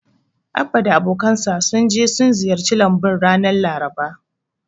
Abba da abokansa sun je sun ziyarci lambun ranar Laraba.